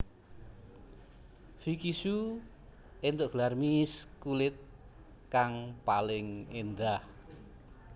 Vicky Shu éntuk gelar Miss kulit kang paling endah